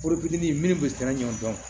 Foro fitinin minnu bɛ tiga ɲɔn kan